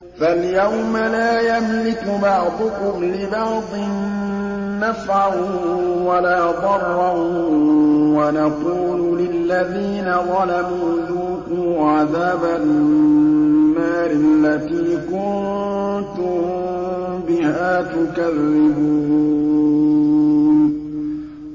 فَالْيَوْمَ لَا يَمْلِكُ بَعْضُكُمْ لِبَعْضٍ نَّفْعًا وَلَا ضَرًّا وَنَقُولُ لِلَّذِينَ ظَلَمُوا ذُوقُوا عَذَابَ النَّارِ الَّتِي كُنتُم بِهَا تُكَذِّبُونَ